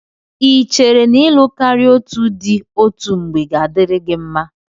Ị chere n'ịlụ karịa otù di òtù mgbe ga-adịrị gị mma?